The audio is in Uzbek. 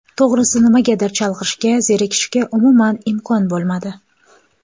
To‘g‘risi nimagadir chalg‘ishga, zerikishga umuman imkon bo‘lmadi.